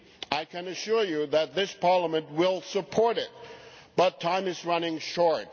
I can assure you that this Parliament will support it, but time is running short.